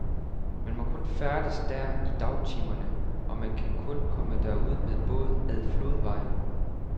Man må kun færdes der i dagtimerne, og man kan kun komme derud med båd ad flodvejen.